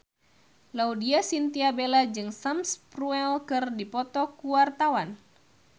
Laudya Chintya Bella jeung Sam Spruell keur dipoto ku wartawan